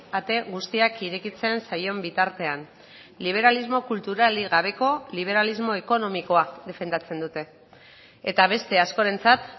ate guztiak irekitzen zaion bitartean liberalismo kulturalik gabeko liberalismo ekonomikoa defendatzen dute eta beste askorentzat